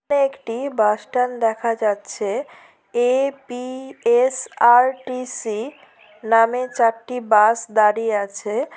একটি bus stand দেখা যাচ্ছে এ.পি.এস.আর.টি.সি নামে চারটি বাস দাঁড়িয়ে আছে।